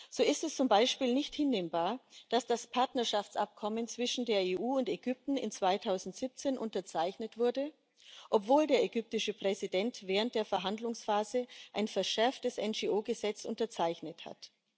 So ist es zum Beispiel nicht hinnehmbar, dass das Partnerschaftsabkommen zwischen der EU und Ägypten im Jahr 2017 unterzeichnet wurde, obwohl der ägyptische Präsident während der Verhandlungsphase ein verschärftes NGO Gesetz unterzeichnet hat.